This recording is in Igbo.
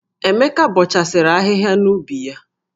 Emeka bọchasịrị ahịhịa nọ n'ubi ya.